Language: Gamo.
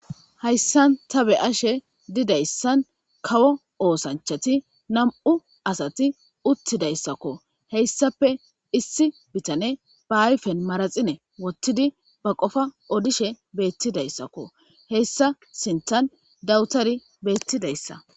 Hayisan ta beashe didayisan kawo osanchati nam'u asati utidayisakko heyisape issi bitane ba ayifen maraxine wotidi ba qofa odishe betidayisakko heyisa sintan dawutari betidayisa.